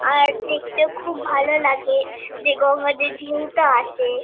আর দেখতেও খুব ভালো লাগে যে গঙ্গার যে ঢেউটা আসে।